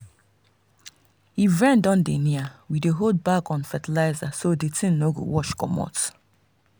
if rain don near we dey hold back on fertilizer so the thing no go wash comot.